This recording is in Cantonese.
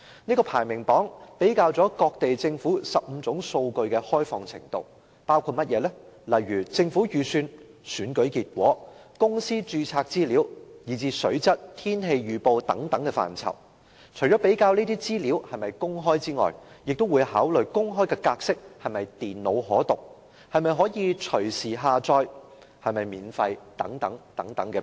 這個排名榜比較了各地政府15種數據的開放程度，包括政府預算、選舉結果、公司註冊資料，以至水質、天氣預報等範疇，除了比較這些資料是否公開，也會考慮公開的格式是否電腦可讀、能否隨時下載、是否免費等。